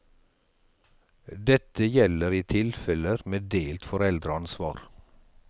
Dette gjelder i tilfeller med delt foreldreansvar.